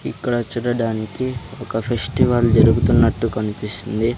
ఇక్కడ చూడడానికి ఒక ఫెస్టివల్ జరుగుతున్నట్టు కన్పిస్తుంది.